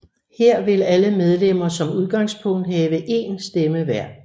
Her vil alle medlemmer som udgangspunkt have én stemme hver